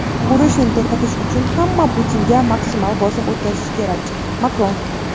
Urushni to‘xtatish uchun hamma Putinga maksimal bosim o‘tkazishi kerak – Makron.